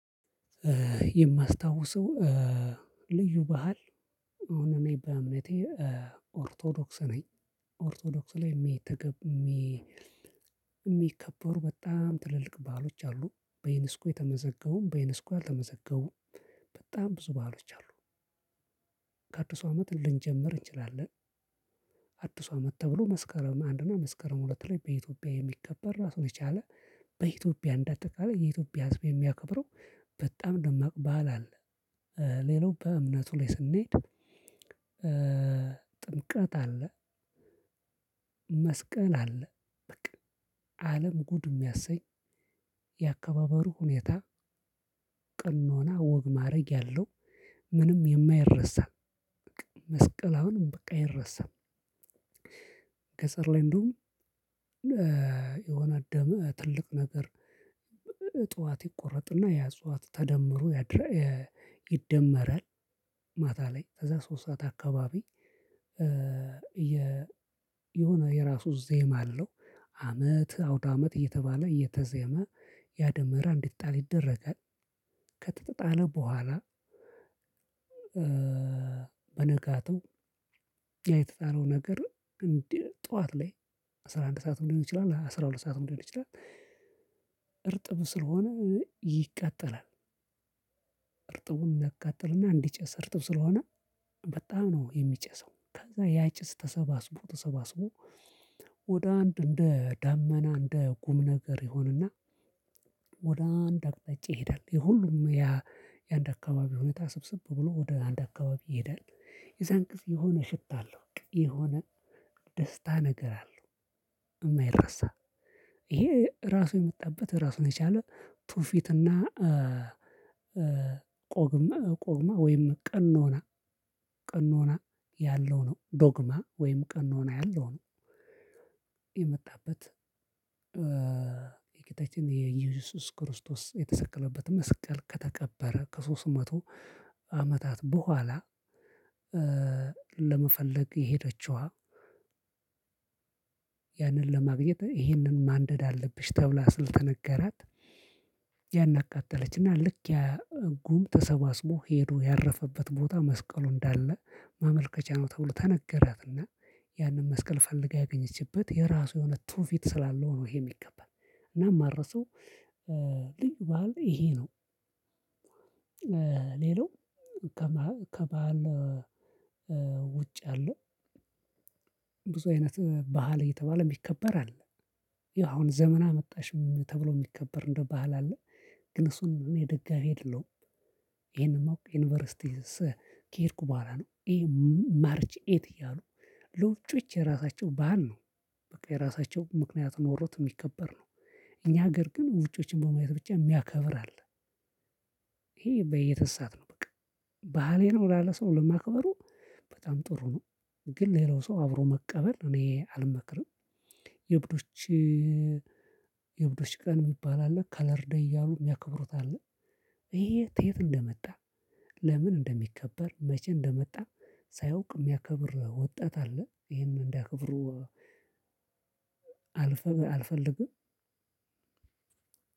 የማስታውሰው ልዩ ባህል አሁን እኔ በእምነቴ ኦርቶዶክስ ነኝ። ኦርቶዶክስ ላይ የሚተገብ የሚ የሚከበሩ በጣም ትልልቅ በዓሎች አሉ፣ በዩኒስኮ የተመዘገቡም በዩኒስኮ ያልተመዘገቡም በጣም ብዙ በዓሎች አሉ። ከአዲሱ አመት ልንጀምር እንችላለን። አዲሱ አመት ተብሎ መስከረም አንድና መስከረም ሁለት ላይ በኢትዮጵያ የሚከበር ራሱን የቻለ በኢትዮጵያ እንዳጠቃላይ የኢትዮጵያ ህዝብ የሚያከብረው በጣም ደማቅ በዓል አለ። ሌላው በእምነቱ ላይ ስንሄድ ጥምቀት አለ፣ መስቀል አለ በቃ አለም ጉድ የሚያሰኝ የአከባበሩ ሁኔታ ቀኖናው ወግ ማእረግ ያለው ምንም የማይረሳ መስቀል አሁንም በቃ አይረሳም። ገጠር ላይ እንደውም የሆነ ደመ ትልቅ ነገር ጠዋት ይቆረጥና ያ እጽዋት ተደምሮ ያድራ ይደመራል። ማታ ላይ ከዛ ሶስት ሰዓት አካባቢ የ የሆነ የራሱ ዜማ አለው። አመት አውዳመት እየተባለ እየተዜመ ያ ደመራ እንዲጣል ይደረጋል። ከተጣለ በኋላ በነጋታው ያ የተጣለው ነገር እንዲ ጠዋት ላይ አስራ አንድ ሰዓትም ሊሆን ይችላል አስራ ሁለት ሰዓትም ሊሆን ይችላል እርጥብ ስለሆነ ይቃጠላል። እርጥቡ እንዲያቃጥልና እንዲጨስ እርጥብ ስለሆነ በጣም ነው የሚጨሰው ከዛ ያ ጭስ ተሰባስቦ ተሰባስቦ ወደ አንድ እንደ ዳመና እንደ ጉም ነገር ይሆንና ወደ አንድ አቅጣጫ ይሄዳል። የሁሉም የአንድ አካባቢ ሁኔታ ስብስብ ብሎ ወደ አንድ አካባቢ ይሄዳል። የዛን ጊዜ የሆነ ሽታ አለው፣ በቃ የሆነ ደስታ ነገር አለው፣ የማይረሳ። ይሄ ራሱ የመጣበት ራሱን የቻለ ትውፊትና ቆግመ ቆግማ ወይም ቀኖና ቀኖና ያለው ነው፣ ዶግማ ወይም ቀኖና ያለው ነው የመጣበት የጌታችን የኢየሱስ ክርስቶስ የተሰቀለበትን መስቀል ከተቀበረ ከሶስት መቶ አመታት በኋላ ለመፈለግ የሄደችዋ ያንን ለማግኘት ይሄንን ማንደድ አለብሽ ተብላ ለልተነገራት ያን አቃጠለች እና ልክ ያ ጉም ተሰባስቦ ሄዶ ያረፈበት ቦታ መስቀሉ እንዳለ ማመልከቻ ነው ተብሎ ተነገራትና ያንን መስቀል ፈልጋ ያገኘችበት የራሱ የሆነ ትውፊት ስላለው ነው ይሄ የሚከበረው። እና የማልረሳው ልዩ ባህል ይሄ ነው። ሌላው ከባህል ከባህል ውጭ ያለው ብዙ አይነት ባህል የተባለ የሚከበር አለ። ያው አሁን ዘመን አመጣሽም ተብሎ የሚከበር እንደ ባህል አለ። ግን እሱን እኔ ደጋፊ አይደለውም። ይሄንኑ ዩኒቨርሲቲ ከሄድኩ በኋላ ነው። ይሄ ማርች ኤይት እያሉ ለውጪዎች የራሳቸው ባህል ነው። የራሳቸው ምክንያት ኖሮት የሚከበር ነው። እኛ ሀገር ግን ውጮችን በማየት ብቻ የሚያከብር አለ። ይሄ ይሄ በየ እየተሳተ ነው በቃ። ባህሌ ነው ላለ ሰው ለማክበሩ በጣም ጥሩ ነው። ግን ሌላው ሰው አብሮ መቀበል እኔ አልመክርም። የእብዶች የእብዶች ቀን የሚባል አለ፣ ከለር ደይ እያሉ የሚያከብሩት አለ። ይሄ ከየት እንደመጣ፣ ለምን እንደሚከበር፣ መቼ እንደመጣ፣ ሳያውቅ የሚያከብር ወጣት አለ። ይሄን እንዲያከብሩ አልፈ አልፈልግም።